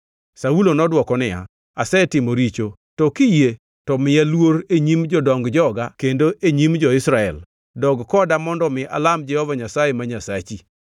Saulo nodwoko niya, “Asetimo richo. To kiyie to miya luor e nyim jodong joga kendo e nyim jo-Israel; dog koda mondo mi alam Jehova Nyasaye ma Nyasachi.”